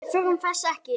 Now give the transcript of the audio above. Við þurfum þess ekki.